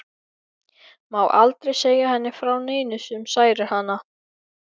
Má aldrei segja henni frá neinu sem særir hana.